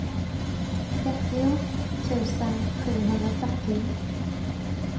trettio tusen sjuhundrafyrtio